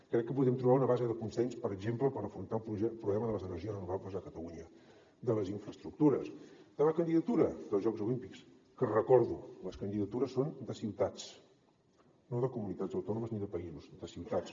crec que podem trobar una base de consens per exemple per afrontar el problema de les energies renovables a catalunya de les infraestructures de la candidatura dels jocs olímpics que ho recordo les candidatures són de ciutats no de comunitats autònomes ni de països de ciutats